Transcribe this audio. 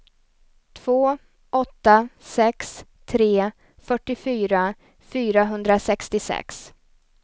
två åtta sex tre fyrtiofyra fyrahundrasextiosex